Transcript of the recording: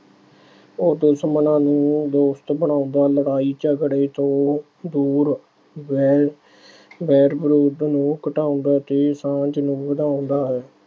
ਉਹ ਦੁਸ਼ਮਣਾਂ ਨੂੰ ਦੋਸਤ ਬਣਾਉਂਦਾ, ਲੜਾਈ ਝਗੜੇ ਤੋਂ ਦੂਰ ਰਹਿ ਅਹ ਵੈਰ ਵਿਰੋਧ ਨੂੰ ਘਟਾਉਂਦਾ ਤੇ ਸਾਂਝ ਨੂੰ ਵਧਾਉਂਦਾ ਹੈ।